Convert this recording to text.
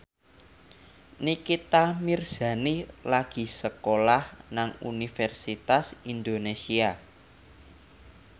Nikita Mirzani lagi sekolah nang Universitas Indonesia